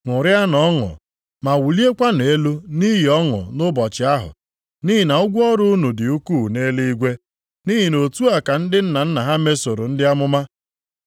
“Ṅụrịanụ ọṅụ ma wuliekwanụ elu nʼihi ọṅụ nʼụbọchị ahụ, nʼihi na ụgwọ ọrụ unu dị ukwuu nʼeluigwe. Nʼihi na otu a ka ndị nna nna ha mesoro ndị amụma.